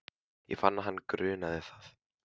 Ég fann að hana grunaði það.